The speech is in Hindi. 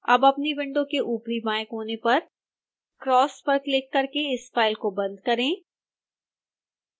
अब अपनी विंडो के ऊपरी बाएं कोने पर क्रॉस पर क्लिक करके इस फाइल को बंद करें